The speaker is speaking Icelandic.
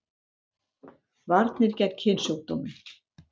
Varnir gegn kynsjúkdómum